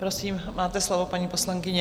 Prosím, máte slovo, paní poslankyně.